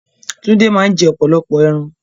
Túndé máa ń jẹ́ ọ̀pọ̀lọpọ̀ ẹran